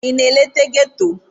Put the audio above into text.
Ị na-eleta ghetto?